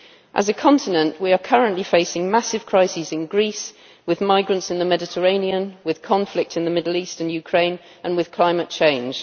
As a continent we are currently facing massive crises in Greece, with migrants in the Mediterranean, with conflict in the Middle East and Ukraine and with climate change.